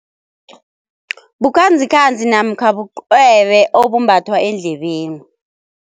Bukhanzikhanzi namkha bucwebe obumbathwa endlebeni.